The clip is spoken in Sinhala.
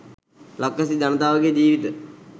ලක්වැසි ජනතාව ගේ ජීවිත